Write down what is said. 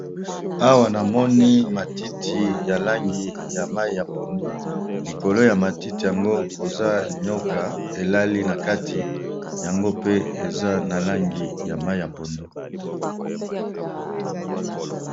Awa namoni matiti ya langi ya mayi ya pondu, likolo ya matiti yango koza nioka elali na kati yango pe eza na langi ya mayi ya pondu.